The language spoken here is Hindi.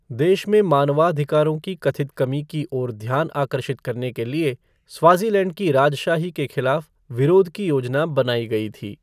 देश में मानवाधिकारों की कथित कमी की ओर ध्यान आकर्षित करने के लिए स्वाज़ीलैंड की राजशाही के खिलाफ विरोध की योजना बनाई गई थी।